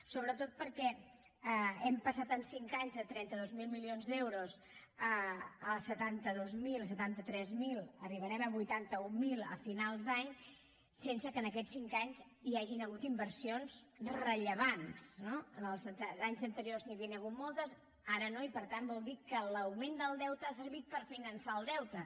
sobretot perquè hem passat en cinc anys de trenta dos mil milions d’euros a setanta dos mil setanta tres mil arribarem a vuitanta mil a finals d’any sense que en aquests cinc anys hi hagin hagut inversions rellevants no en anys anteriors n’hi havien hagut moltes ara no i per tant vol dir que l’augment del deute ha servit per finançar el deute